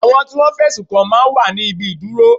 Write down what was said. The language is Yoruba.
Àwọn tí Wọ́n fẹ̀sùn kàn máa ń wà ní ibi ìdúró.